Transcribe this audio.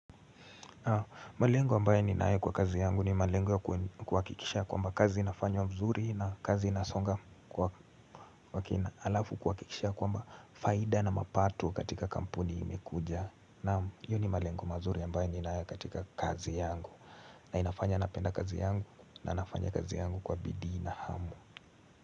Malengo ambaye ninaye kwa kazi yangu ni malengo kuhakikisha kwamba kazi inafanywa mzuri na kazi inasonga kwa kwa kina alafu kukikisha kwamba faida na mapato katika kampuni imekuja Naam hiyo ni malengo mazuri ambaye ninaye katika kazi yangu na inafanya napenda kazi yangu na nafanya kazi yangu kwa bidii na hamu.